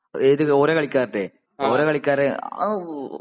ഏത് ? ഓരോ കളിക്കാരുടെയോ ? ഓരോ കളിക്കാരെ